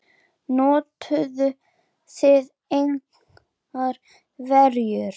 Notuðuð þið engar verjur?